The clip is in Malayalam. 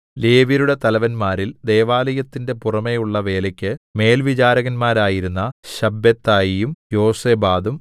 ലേവ്യരുടെ തലവന്മാരിൽ ദൈവാലയത്തിന്റെ പുറമെയുള്ള വേലയ്ക്ക് മേൽവിചാരകന്മാരായിരുന്ന ശബ്ബെത്തായിയും യോസാബാദും